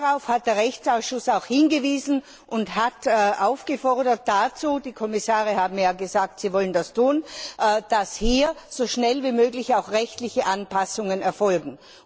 Darauf hat der Rechtsausschuss auch hingewiesen und hat dazu aufgefordert die Kommissare haben ja gesagt, sie wollen das tun dass hier so schnell wie möglich rechtliche Anpassungen erfolgen.